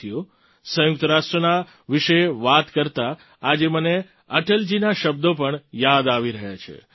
સાથીઓ સંયુક્ત રાષ્ટ્રના વિશે વાત કરતા આજે મને અટલજીના શબ્દો પણ યાદ આવી રહ્યા છે